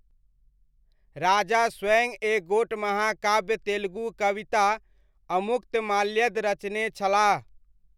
राजा स्वयं एक गोट महाकाव्य तेलुगु कविता 'अमुक्तमाल्यद' रचने छलाह।